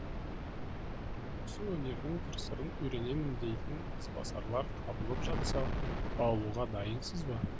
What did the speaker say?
осы өнердің қыр сырын үйренемін дейтін ізбасарлар табылып жатса баулуға дайынсыз ба